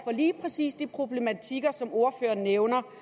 lige præcis de problematikker som ordføreren nævner